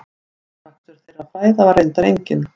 Afrakstur þeirra fræða var reyndar enginn.